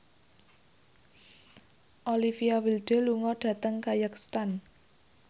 Olivia Wilde lunga dhateng kazakhstan